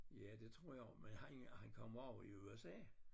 Ja det tror jeg men han han kommer også i USA